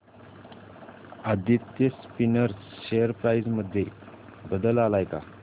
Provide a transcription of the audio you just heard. Aditya spinners share price मध्ये बदल आलाय का